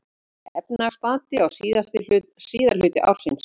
Efnahagsbati á síðari hluta ársins